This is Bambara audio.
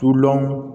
Tulolɔn